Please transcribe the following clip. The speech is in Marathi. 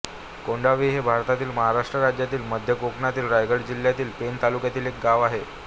कोंढावी हे भारतातील महाराष्ट्र राज्यातील मध्य कोकणातील रायगड जिल्ह्यातील पेण तालुक्यातील एक गाव आहे